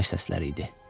Atəş səsləri idi.